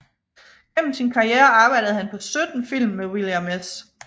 Gennem sin karriere arbejdede han på 17 film med William S